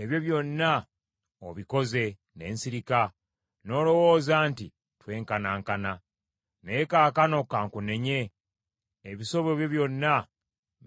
Ebyo byonna obikoze, ne nsirika, n’olowooza nti twenkanankana. Naye kaakano ka nkunenye, ebisobyo byonna